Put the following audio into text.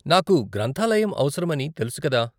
నాకు గ్రంధాలయం అవసరమని తెలుసు కదా.